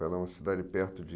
Ela é uma cidade perto de...